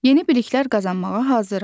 Yeni biliklər qazanmağa hazırıq.